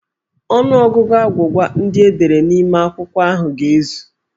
Ọnụọgụgụ agwụgwa ndị e dere n'ime akwụkwọ ahụ ga-ezu.